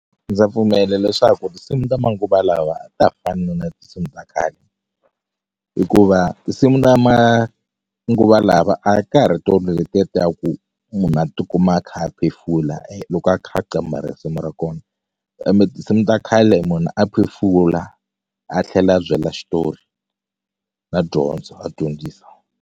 Ndza pfumela leswaku tinsimu ta manguva lawa a ta ha fani na tinsimu ta khale hikuva tinsimu ta manguva lava a ka ha ri tolo letiya ta ku munhu a ti kuma a kha a phefula loko a kha a qambha risimu ra kona kambe tinsimu ta khale munhu a phefula a tlhela a byela xitori na dyondzo a dyondzisa.